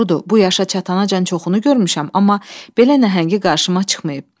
Doğrudur, bu yaşa çatana çatanacan çoxunu görmüşəm, amma belə nəhəngi qarşıma çıxmayıb.